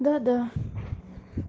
да да